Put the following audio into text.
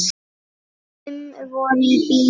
Fimm voru í bílnum.